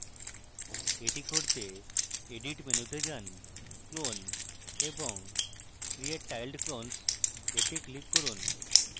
এটি করতে edit মেনুতে যান clone এবং create tiled clones এ click করুন